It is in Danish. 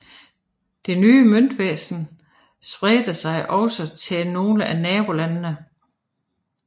Det nye møntvæsen spredte sig også til nogle af nabolandene